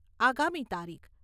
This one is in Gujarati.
આગામી તારીખ